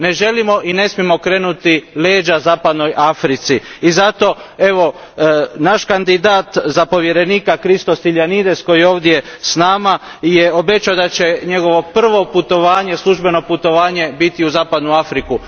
Ne želimo i ne smijemo okrenuti leđa zapadnoj Africi i zato je naš kandidat za povjerenika Christos Stylianides koji je ovdje s nama obećao da će njegovo prvo službeno putovanje biti u zapadnu Afriku.